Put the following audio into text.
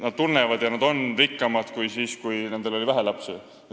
Nad tunnevad, et nad on praegu rikkamad kui siis, kui neil oli vähe lapsi.